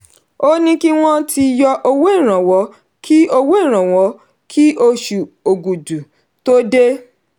ó ní kí wọ́n ti yọ owó ìrànwọ́ kí owó ìrànwọ́ kí osù ògùdù tó dé.